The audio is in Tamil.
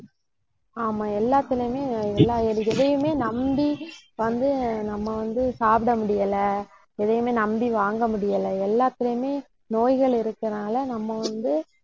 ஆமா எல்லாத்திலயுமே, எல்லா எ~ எதையுமே நம்பி வந்து, நம்ம வந்து சாப்பிட முடியல. எதையுமே நம்பி வாங்க முடியல. எல்லாத்திலயுமே நோய்கள் இருக்கறதுனால நம்ம வந்து